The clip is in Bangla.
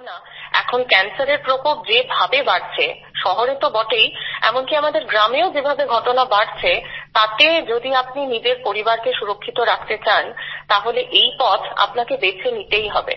কারণ এখন cancerএর প্রকোপ যেভাবে বাড়ছে শহরে তো বটেই এমনকি আমাদের গ্রামেও যেভাবে ঘটনা বাড়ছে তাতে যদি আপনি নিজের পরিবারকে সুরক্ষিত রাখতে চান তাহলে এই পথ আপনাকে বেছে নিতেই হবে